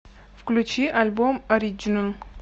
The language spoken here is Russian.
включи альбом ориджинал